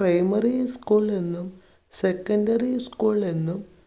primary school എന്നും secondary school എന്നും